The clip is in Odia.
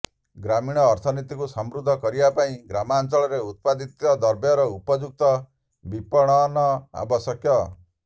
ଗ୍ରାମୀଣ ଅର୍ଥନୀତିକୁ ସମୃଦ୍ଧ କରିବା ପାଇଁ ଗ୍ରାମାଞ୍ଚଳରେ ଉତ୍ପାଦିତ ଦ୍ରବ୍ୟର ଉପଯୁକ୍ତ ବିପଣନ ଆବଶ୍ୟକ